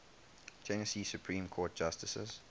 tennessee supreme court justices